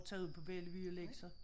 Tage ud på Bellevue og lægge sig